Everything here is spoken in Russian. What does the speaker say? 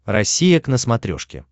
россия к на смотрешке